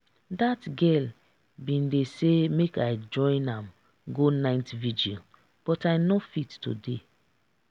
that girl bin dey say make i join am go night vigil but i no fit today